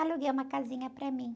Aluguei uma casinha para mim.